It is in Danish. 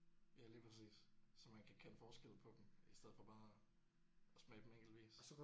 Ja lige præcis så man kan kende forskel på dem i stedet for bare at smage dem enkeltvis